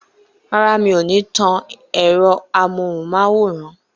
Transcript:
Rárá, mi ò ní tan ẹ̀rọ amóhùnmáwòrán.